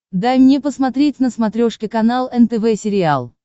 дай мне посмотреть на смотрешке канал нтв сериал